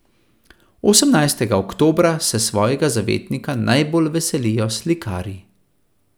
Osemnajstega oktobra se svojega zavetnika najbolj veselijo slikarji.